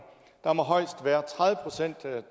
der må højst være tredive procent